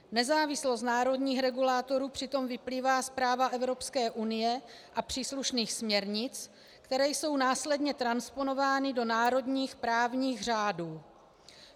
Nezávislost národních regulátorů přitom vyplývá z práva Evropské unie a příslušných směrnic, které jsou následně transponovány do národních právních řádů.